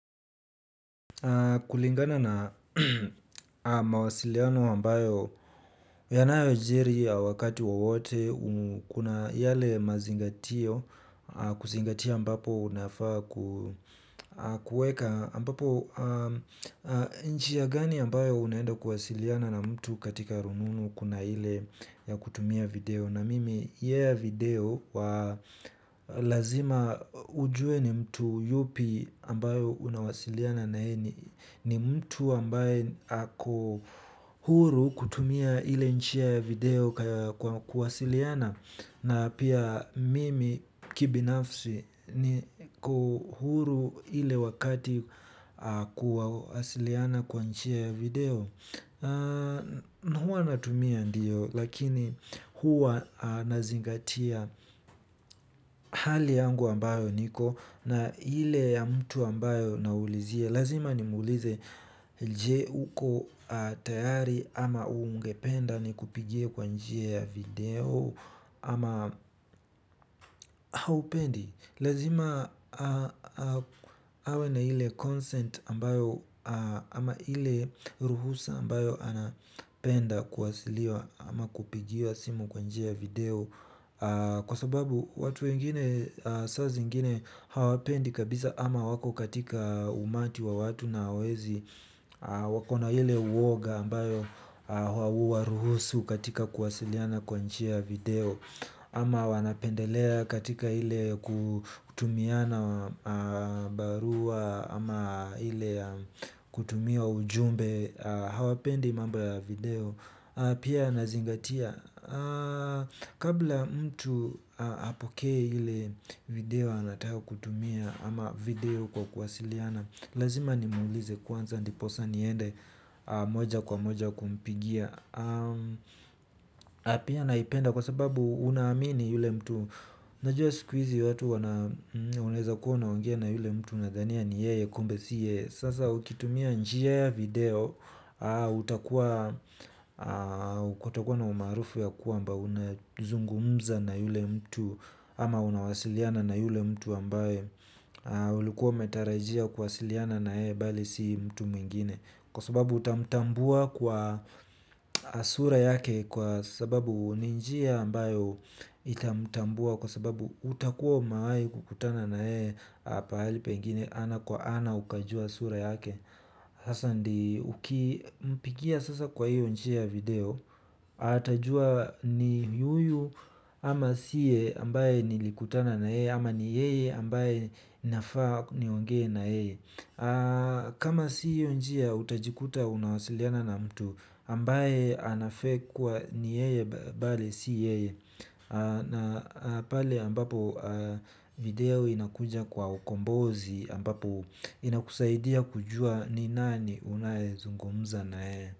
Kulingana na mawasiliano ambayo yanayojiri wakati wowote kuna yale mazingatio kuzingatia ambapo unafaa kuweka ambapo njia gani ambayo unaenda kuwasiliana na mtu katika rununu kuna ile ya kutumia video. Na mimi ya hiyo ya video wa lazima ujue ni mtu yupi ambaye unawasiliana naye ni mtu ambaye ako huru kutumia ile njia ya video kwa kuwasiliana. Na pia mimi kibinafsi niko huru ile wakati kuwasiliana kwa njia ya video. Huwa natumia ndiyo lakini huwa nazingatia hali yangu ambayo niko na ile mtu ambayo naulizia. Lazima nimuulize je uko tayari ama ungependa ni kupigie kwa njia ya video ama haupendi. Lazima awe na ile consent ambayo ama ile ruhusa ambayo anapenda kuwasiliwa ama kupigiwa simu kwa njia ya video kwa sababu watu wengine kwa saa zingine hawapendi ama wako katika umati wa watu na hawawezi. Wako na ile uoga ambayo hawaruhusu katika kuwasiliana kwa njia video. Ama wanapendelea katika ile kutumiana barua ama ile ya kutumia ujumbe. Hawapendi mambo ya video. Pia nazingatia. Kabla mtu apokee ile video anataka kutumia ama video kwa kuwasiliana. Lazima nimuulize kwanza ndiposa niende moja kwa moja kumpigia na pia naipenda kwa sababu unaamini yule mtu. Najua siku izi watu wana unaeza kuwa unaongea na yule mtu. Unadhania ni yeye kumbe si yeye. Sasa ukitumia njia ya video utakuwa na umaarufu ya kwamba unazungumza na yule mtu. Ama unawasiliana na yule mtu ambaye ulikuwa umetarajia kuwasiliana na yeye bali si mtu mwingine. Kwa sababu utamtambua kwa sura yake. Kwa sababu ni njia ambayo itamtambua. Kwa sababu utakuwa umehawi kukutana na yeye. Pahali pengine ana kwa ana ukajua sura yake. Sasa ukimpigia sasa kwa hiyo njia ya video. Atajua ni yuyu ama siye ambaye nilikutana na yeye. Ama ni yeye ambaye nafaa niongee na yeye. Kama si hiyo njia utajikuta unawasiliana na mtu ambaye ana fake kuwa ni yeye bali si yeye. Na pale ambapo video inakuja kwa ukombozi ambapo inakusaidia kujua ni nani unayezungumza na yeye.